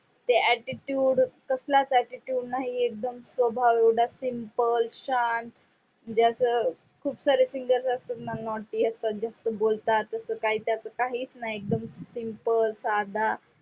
ते attitude कसलास attitude नाही. तो स्वभाव एवडा simple शांत म्हणजे असं खूप सारे singer असतात naughty अस्तथ जास्थ बोलतात. त्याचं काही काहीच नाही एकदम simple साधा.